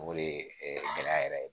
O de ye gɛlɛya yɛrɛ ye